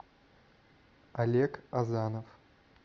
олег азанов